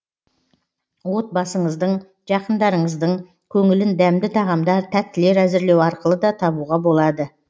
отбасыңыздың жақындарыңыздың көңілін дәмді тағамдар тәттілер әзірлеу арқылы да табуға болады